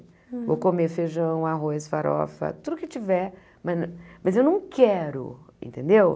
Vou comer feijão, arroz, farofa, tudo que tiver, mas nã mas eu não quero, entendeu?